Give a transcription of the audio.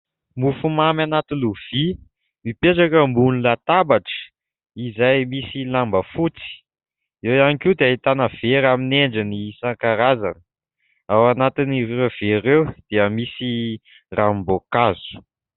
Mofomamy anaty lovia mipetraka ambony latabatra izay misy lamba fotsy. Eo ihany koa dia ahitana vera amin'ny endriny isan-karazany. Ao anatin'ireo vera ireo dia misy ranom-boankazo.